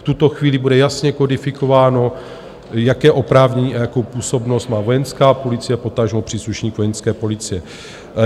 V tuto chvíli bude jasně kodifikováno, jaké oprávnění a jakou působnost má Vojenská policie, potažmo příslušník Vojenské policie.